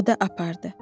O da apardı.